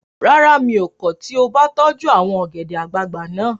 Rárá, mi ò kọ̀ tí o bá tọ́jú àwọn ọ̀gẹ̀dẹ̀ àgbagbà naa